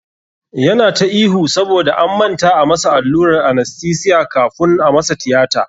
Yana ta ihu saboda an manta a masa allurar anastesiya kafun a masa tiyata.